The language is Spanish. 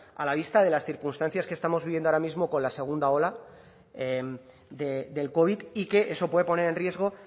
a la vista de las circunstancias que estamos viviendo ahora mismo con la segunda ola del covid y que eso puede poner en riesgo